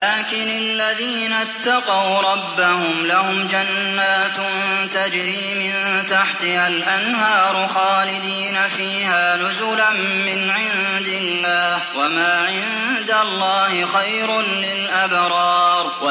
لَٰكِنِ الَّذِينَ اتَّقَوْا رَبَّهُمْ لَهُمْ جَنَّاتٌ تَجْرِي مِن تَحْتِهَا الْأَنْهَارُ خَالِدِينَ فِيهَا نُزُلًا مِّنْ عِندِ اللَّهِ ۗ وَمَا عِندَ اللَّهِ خَيْرٌ لِّلْأَبْرَارِ